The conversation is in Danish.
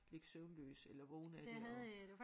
Ligge søvnløs eller vågen af det og